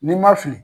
N'i ma fili